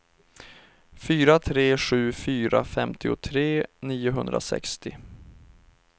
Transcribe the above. fyra tre sju fyra femtiotre niohundrasextio